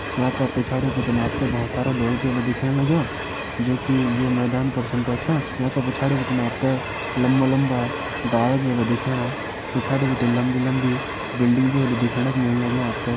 यंका पिछाड़ी आप त बहोत सारा लोग भी होला दिखेण लग्यां जोकि ये मैदान पर छा बैठ्यां यका पिछाड़ी आप त लम्बा लम्बा डाला भी होला दिखेणा पिछाड़ी बिटी लम्बी लम्बी बिल्डिंग भी होली दिखेण की मिलणी आप त।